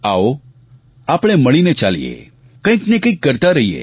આવો આપણે મળીને ચાલીએ કંઈકને કંઈક કરતા રહીએ